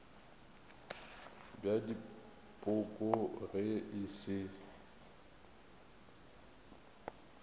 bja dipoko ge e se